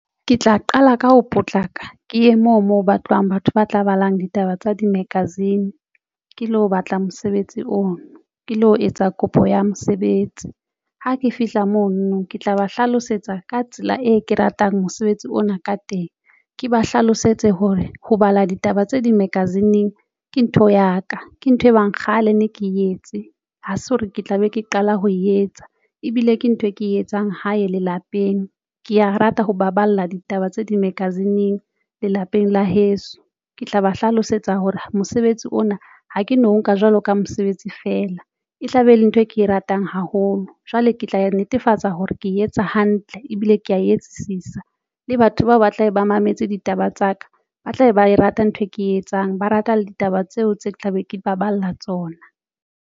Ke tla qala ka ho potlaka ke ye moo mo batlwang batho ba tla balang ditaba tsa di-magazine ke lo batla mosebetsi oo ke lo etsa kopo ya mosebetsi. Ha ke fihla mono ke tla ba hlalosetsa ka tsela e ke ratang mosebetsi ona ka teng. Ke ba hlalosetse hore ho bala ditaba tse dimagazine-ng ke ntho ya ka, ke ntho e bang kgale ne ke etse ha se hore ke tla be ke qala ho etsa ebile ke ntho e ke etsang hae lelapeng. Ke ya rata ho baballa ditaba tse ding magazine-ng lelapeng la heso ke tla ba hlalosetsa hore mosebetsi ona ha ke no nka jwalo ka mosebetsi fela e tlabe e le ntho e ke e ratang haholo jwale ke tla netefatsa hore ke etsa hantle ebile ke ya e etsisisa. Le batho bao ba tlabe ba mametse ditaba tsa ka ba tlabe ba rata ntho e ke e etsang. Ba rata le ditaba tseo tse tla be ke baballa tsona.